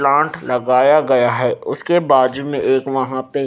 plant लगाया गया है उसके बाज़ू में एक वहां पे--